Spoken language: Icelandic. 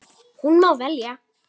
Hún má velja.